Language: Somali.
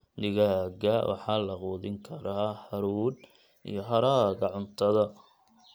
Digaagga waxaa la quudin karaa hadhuudh iyo haraaga cuntada.